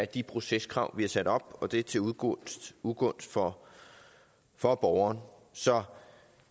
de proceskrav vi har sat op og det er til ugunst ugunst for for borgeren så